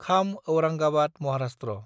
Kham Aurangabad Maharashtra